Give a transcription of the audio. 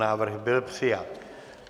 Návrh byl přijat.